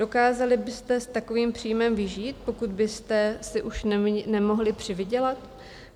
Dokázali byste s takovým příjmem vyžít, pokud byste si už nemohli přivydělat?